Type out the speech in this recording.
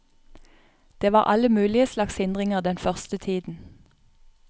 Det var alle mulige slags hindringer den første tiden.